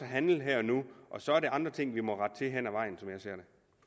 handle her og nu og så er det andre ting som vi må rette til hen ad vejen som jeg ser